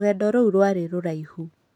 Rũgendo rũu rwarĩ rũraihu